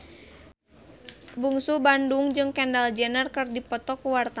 Bungsu Bandung jeung Kendall Jenner keur dipoto ku wartawan